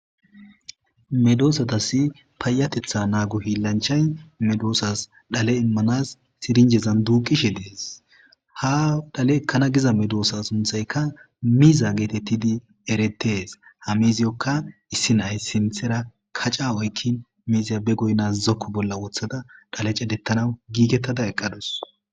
Medosatasi payatetha naago hilanchay medosatasi dhale immanas sirijezan duuqishe dees. Ha dhale ekana Giza medosa sunthayka miza getetidi eretees ha miziyoka.issi na'ay sinthara kaca oykin miziya be goyna zoko bolla wothada cadetana gigetada eqadus